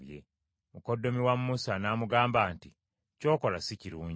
Mukoddomi wa Musa n’amugamba nti, “Ky’okola si kirungi.